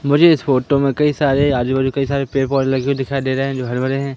मुझे इस फोटो में कई सारे आजूबाजू आजूबाजू कई सारे पेड़ पौधे लगे हुए दिखाई दे रहे हैं जो हरे भरे हैं।